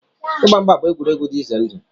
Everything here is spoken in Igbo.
Ịgba mgba bụ egwuregwu dị ize ndụ.